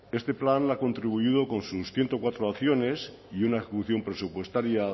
este plan ha contribuido con sus ciento cuatro acciones y una ejecución presupuestaria